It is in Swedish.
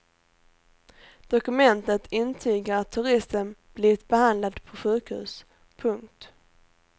Dokumentet intygar att turisten blivit behandlad på sjukhus. punkt